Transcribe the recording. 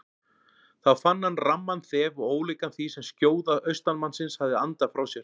Þá fann hann ramman þef og ólíkan því sem skjóða austanmannsins hafði andað frá sér.